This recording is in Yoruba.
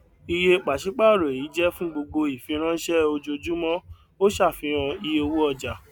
iye pàṣípàrọ èyí jẹ fún gbogbo ìfiránṣẹ ojoojúmọ ó ṣàfihàn iye owó ọjà